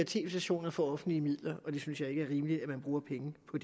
tv stationer for offentlige midler det synes jeg ikke er rimeligt at man bruger penge på